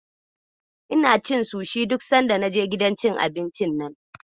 Ina ci sushi duk sanda na je gidan cin abincin nan.